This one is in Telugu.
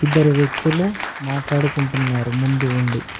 ఇద్దరు వ్యక్తులు మాట్లాడుకుంటున్నారు ముందు ఉండి.